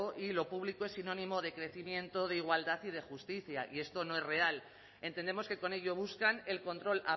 y lo público es sinónimo de crecimiento de igualdad y de justicia y esto no es real entendemos que con ello buscan el control